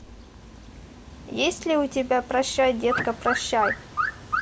есть ли у тебя прощай детка прощай